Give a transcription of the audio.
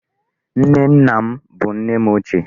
Nne nna m bụ nne m ochie.